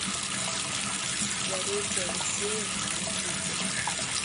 зарете алексеевне никитиной